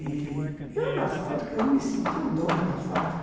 Ih... Eu, na fábrica, eu me senti o dono da fábrica.